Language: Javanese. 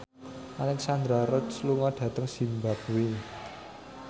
Alexandra Roach lunga dhateng zimbabwe